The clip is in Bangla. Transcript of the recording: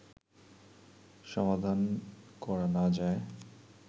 সমাধান করা না যায়